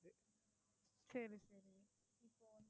சரி, சரி.